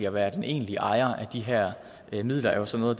at være den egentlige ejer af de her midler er jo så noget